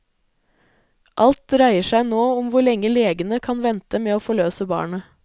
Alt dreier seg nå om hvor lenge legene kan vente med å forløse barnet.